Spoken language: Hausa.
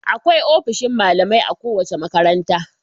Akwai ofishin malamai a kowace makaranta.